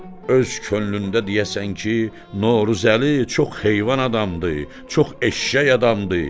öz könlündə deyəsən ki, Növruzəli çox heyvan adamdır, çox eşşək adamdır.